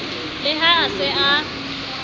le ha a se a